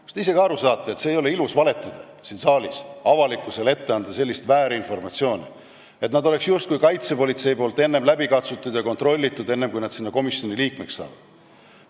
Kas te ise ka aru saate, et siin saalis ei ole ilus valetada, anda avalikkusele väärinformatsiooni, et kaitsepolitsei oleks nad justkui läbi katsunud ja kontrollinud, enne kui nad selle komisjoni liikmeks saavad?